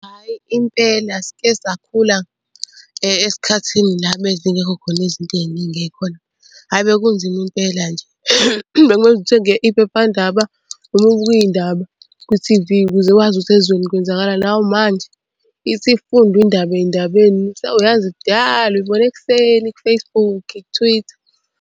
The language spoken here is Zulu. Hhayi impela sike sakhula esikhathini la ebezingekho khona izinto ey'ningi ey'khona. Hhayi bekunzima impela nje, bekumele uze uthenge iphephandaba noma ubuke iy'ndaba ku-T_V ukuze wazi ukuthi ezweni kwenzakalani. Awu manje ithi ifundwa indaba ey'ndabeni sewuyazi kudala uyibone ekuseni ku-Facebook ku-Twitter.